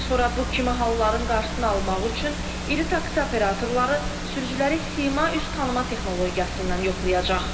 Bundan sonra bu kimi halların qarşısını almaq üçün iri taksi operatorları sürücüləri sima üz tanıma texnologiyası ilə yoxlayacaq.